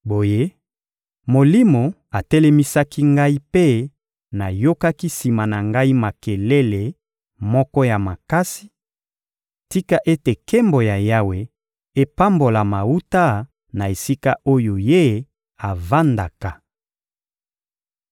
Boye, Molimo atelemisaki ngai mpe nayokaki sima na ngai makelele moko ya makasi: «Tika ete nkembo ya Yawe epambolama wuta na esika oyo Ye avandaka!»